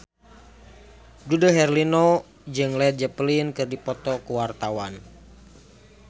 Dude Herlino jeung Led Zeppelin keur dipoto ku wartawan